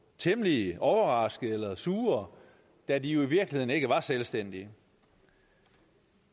temmelig overraskede eller sure da de jo i virkeligheden ikke var selvstændige